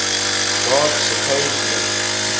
god's supposed link